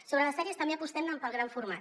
sobre les sèries també apostem pel gran format